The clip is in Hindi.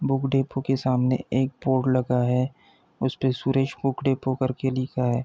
बुक डिपो के सामने एक बोर्ड लगा है। उस पे सुरेश बुक डिपो कर के लिखा है।